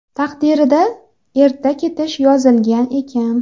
Taqdirida erta ketish yozilgan ekan.